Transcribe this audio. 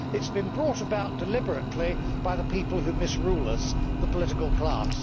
it has been brought about deliberately by the people who misrule us the political class.